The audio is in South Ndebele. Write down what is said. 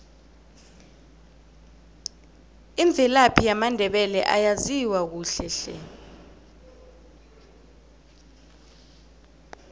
imvelaphi yamandebele ayaziwa kuhle hle